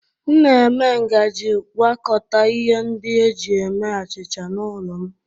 M na-eme ngaji gwakọta ihe ndị e ji eme achịcha n'ụlọ m.